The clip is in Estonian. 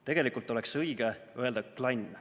Tegelikult oleks õige öelda "klann".